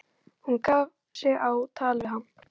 Hún gaf sig á tal við hann.